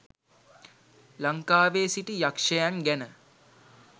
ලංකාවේ සිටි යක්ෂයන් ගැන